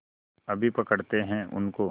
अभी पकड़ते हैं उनको